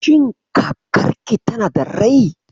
Shin kakarki tana da rai?